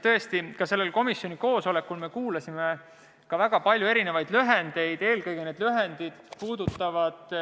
Tõesti, ka sellel komisjoni koosolekul me kuulsime väga palju lühendeid, eelkõige need lühendid tähistavad